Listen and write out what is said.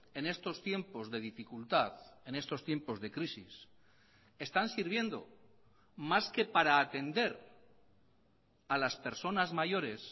en estos tiempos de dificultad en estos tiempos de crisis están sirviendo más que para atender a las personas mayores